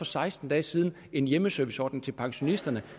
seksten dage siden en hjemmeserviceordning til pensionisterne